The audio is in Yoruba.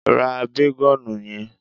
Ra bágọ́ọ̀nù yẹn.